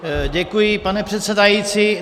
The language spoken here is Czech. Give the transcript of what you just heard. Děkuji, pane předsedající.